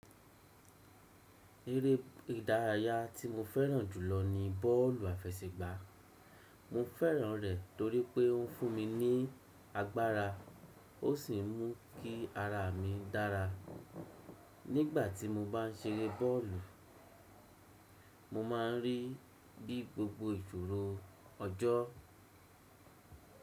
Erẹ́ ìdárayá tí mo fẹ́ràn jùlọ ni bọ́ọ̀lù àfẹsẹ̀gbá. Mo fẹ́ràn rẹ̀ torí pé ó fún mi ní agbára, ó sì mú kí ara mi dára. Nígbà tí mo bá ń ṣeré bọ́ọ̀lù, mo máa ń rí bí gbogbo ìṣòro ọjọ́.